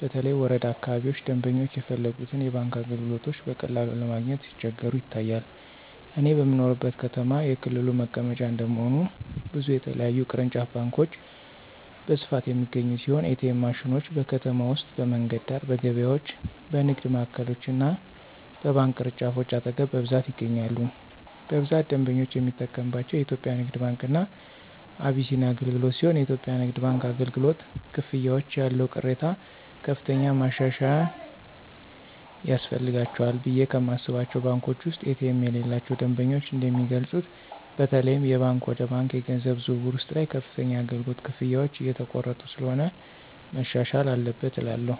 በተለይ ወረዳ አካባቢዎች ደምበኞች የፈለጉትን የባንክ አገልግሎቶች በቀላሉ ለማግኘት ሲቸገሩ ይታያል። እኔ በምኖርበት ከተማ የክልሉ መቀመጫ እንደመሆኑ ብዙ የተለያዩ ቅርንጫፍ ባንኮች በስፋት የሚገኙ ሲሆን ኤ.ቲ.ኤም ማሽኖች: በከተማ ውስጥ በመንገድ ዳር፣ በገበያዎች፣ በንግድ ማዕከሎች እና በባንክ ቅርንጫፎች አጠገብ በብዛት ይገኛሉ። በብዛት ደንበኞች የሚጠቀምባቸው የኢትዮጽያ ንግድ ባንክ እና አቢሲኒያ አገልግሎትሲሆንየኢትዮጵያ ንግድ ባንክ አገልግሎት፨ ክፍያዎች ያለው ቅሬታ ከፍተኛ ማሻሻያ ያስፈልጋቸዋልቑ ብየ ከማስባቸው ባንኮች ውስጥ ኤ.ቲ.ኤም የሌላቸው ደንበኞች እንደሚገልጹት በተለይም የባንክ ወደ ባንክ የገንዘብ ዝውውር ውስጥ ላይ ከፍተኛ የአገልግሎት ክፍያዎች እየተቆረጡ ስለሆነ መሻሻል አለበት እላለሁ።